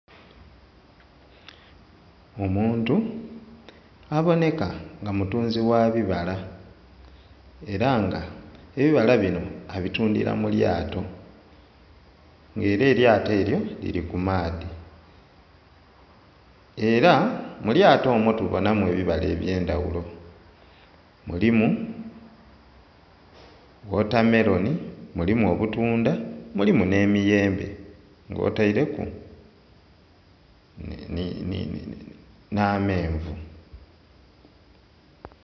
Omuntu abooneka nga mutunzi gha bibala era nga ebibala bino abitundira mu lyato nga era eryato eryo liri ku maadhi era mu lyato omwo tuboona mu ebibala ebyendaghulo mulimu wota meroni, mulimu obutundha, mulimu n'emiyembe nga oteere ku n'amenvu.